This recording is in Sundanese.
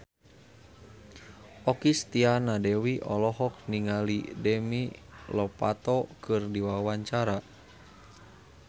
Okky Setiana Dewi olohok ningali Demi Lovato keur diwawancara